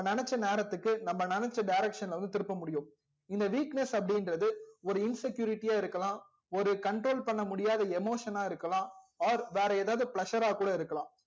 நம்ப நெனச்ச நேரத்துக்கு நம்ப நெனச்ச direction ல வந்து திருப்ப முடியும் எந்த weakness அப்டி இன்றது ஒரு insecurity யா இருக்கலாம் ஒரு control பண்ண முடியாத emotion னா இருக்கலாம் or வேற எதாவது plessure றா கூட இருக்கலாம்